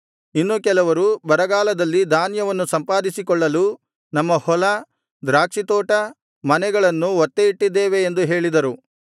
ಇನ್ನು ಕೆಲವರು ಬರಗಾಲದಲ್ಲಿ ಧಾನ್ಯವನ್ನು ಸಂಪಾದಿಸಿಕೊಳ್ಳಲು ನಮ್ಮ ಹೊಲ ದ್ರಾಕ್ಷಿತೋಟ ಮನೆಗಳನ್ನು ಒತ್ತೆ ಇಟ್ಟಿದ್ದೇವೆ ಎಂದು ಹೇಳಿದರು